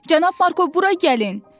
Cənab Marko, bura gəlin!